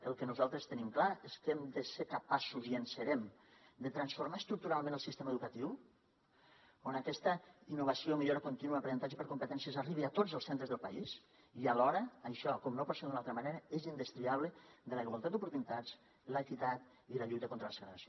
el que nosaltres tenim clar és que hem de ser capaços i en serem de transformar estructuralment el sistema educatiu on aquesta innovació o millora contínua aprenentatge per competències arribi a tots els centres del país i alhora això com no pot ser d’una altra manera és indestriable de la igualtat d’oportunitats l’equitat i la lluita contra la segregació